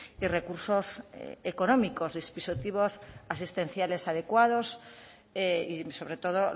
y recursos económicos dispositivos asistenciales adecuados y sobre todo